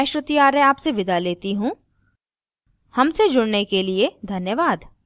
I I T Bombay से मैं श्रुति आर्य आपसे विदा लेती you धन्यवाद